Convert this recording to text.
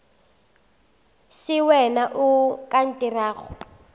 se wena o ka ntirago